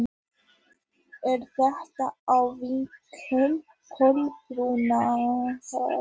Er þetta á vegum Kolbrúnar?